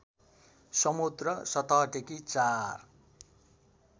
समुद्र सतहदेखि ४